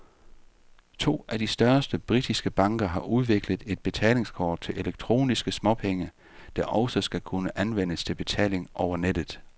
To af de største britiske banker har udviklet et betalingskort til elektroniske småpenge, der også skal kunne anvendes til betaling over nettet.